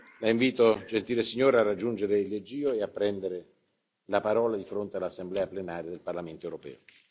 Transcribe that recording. La invito, gentile signora, a raggiungere il leggio e a prendere la parola di fronte all'Assemblea plenaria del Parlamento europeo.